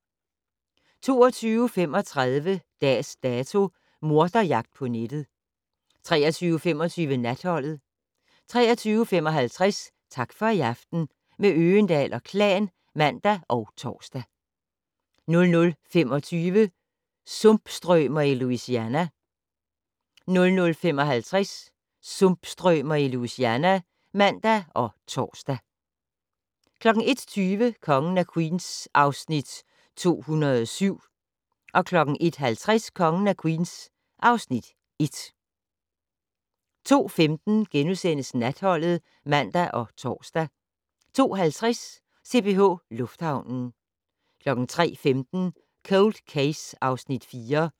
22:35: Dags Dato: Morderjagt på nettet 23:25: Natholdet 23:55: Tak for i aften - med Øgendahl & Klan (man og tor) 00:25: Sumpstrømer i Louisiana 00:55: Sumpstrømer i Louisiana (man og tor) 01:20: Kongen af Queens (Afs. 207) 01:50: Kongen af Queens (Afs. 1) 02:15: Natholdet *(man og tor) 02:50: CPH Lufthavnen 03:15: Cold Case (Afs. 4)